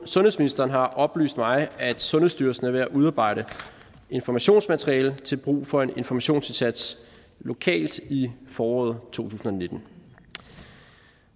sundhedsministeren har oplyst mig at sundhedsstyrelsen er ved at udarbejde informationsmateriale til brug for en informationsindsats lokalt i foråret to tusind og nitten